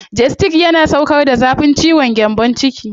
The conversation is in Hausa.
Gestid yana sauƙar da zafin ciwon gyambon ciki.